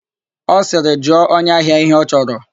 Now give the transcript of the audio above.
Ọ sịrị, "jụọ onye ahia ihe ọ chọrọ"!